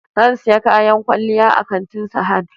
Zan siyi kayan kwalliya a kantin Sahad